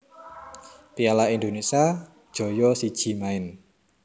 piala Indonesia joyo siji maen